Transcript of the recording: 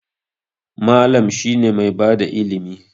Mallam shine mai bada ilimi.